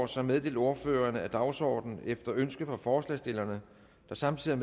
som meddelt ordførerne udgår af dagsordenen efter ønske fra forslagsstillerne der samtidig